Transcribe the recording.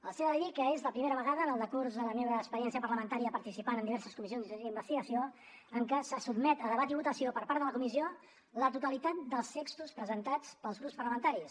els he de dir que és la primera vegada en el decurs de la meva experiència parlamentària participant en diverses comissions d’investigació en què se sotmet a debat i votació per part de la comissió la totalitat dels textos presentats pels grups parlamentaris